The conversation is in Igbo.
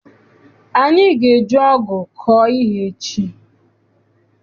Anyị ga eji ọgụ kọọ ihe echi.